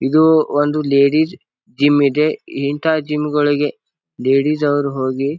ಇದು ಒಂದು ladies gym ಇದೆ. ಇಂತಹ ಜಿಮ್ ಗಳಿಗೆ ಲೇಡೀಸ್ ಅವ್ರ ಹೋಗಿ.